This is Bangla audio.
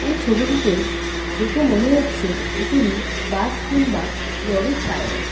এই ছবিটাতে দেখে মনে হচ্ছে এগুলি বাস কিংবা লরির টায়ার ।